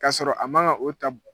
K'a sɔrɔ a ma ga o ta